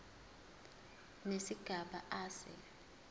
nesigaba a se